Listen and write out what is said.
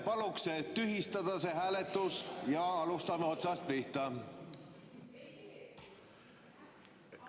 Palun tühistada see hääletus ja alustame otsast pihta!